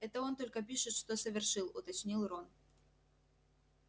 это он только пишет что совершил уточнил рон